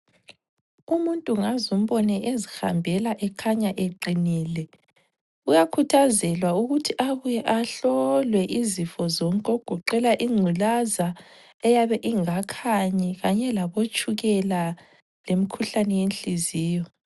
Umuntu ngazumbone ezihambela ekhanya eqinile kuyakhuthazelwa ukuthi abuye ahlolwe izifo zonke okugoqela ingculaza eyabe ingakhanyi kanye labotshukela lemikhuhlane yenhliziyo.